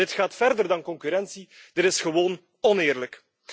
Dit gaat verder dan concurrentie, dit is gewoon oneerlijk.